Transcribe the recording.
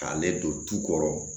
K'ale don tu kɔrɔ